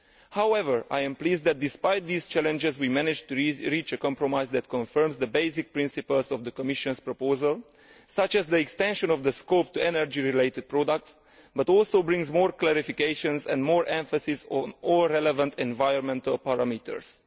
However, I am pleased that despite these challenges we managed to reach a compromise that confirms the basic principles of the Commission's proposal, such as the extension of the scope to energy related products, but also brings more clarifications and more emphasis on all relevant environmental parameters.